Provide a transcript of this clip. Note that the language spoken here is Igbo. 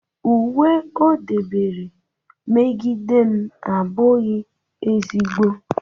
uwe o debere megide m abụghị ezigbo